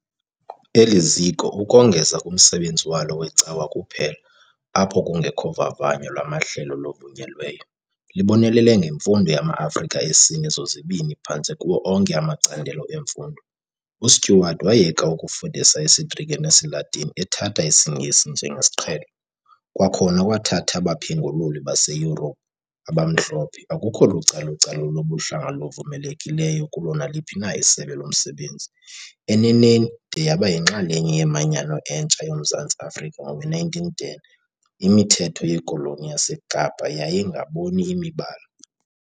Eli ziko, ukongeza kumsebenzi walo wecawa kuphela - apho kungekho vavanyo lwamahlelo luvunyelweyo - libonelele ngemfundo yama-Afrika esini sozibini phantse kuwo onke amacandelo emfundo, uStewart wayeka ukufundisa isiGrike nesiLatini, ethatha isiNgesi njengesiqhelo, kwakhona kwathatha abaphengululi baseYurophu, abamhlophe, akukho lucalucalulo lobuhlanga luvumelekileyo kulo naliphi na isebe lomsebenzi, eneneni, de yaba yinxalenye yeManyano entsha yoMzantsi Afrika ngowe1910, imithetho yeKoloni yaseKapa "yayingaboni imibala".